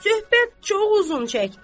Söhbət çox uzun çəkdi.